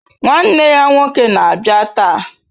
Nwanne ya nwoke na-abịa taa.